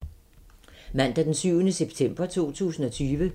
Mandag d. 7. september 2020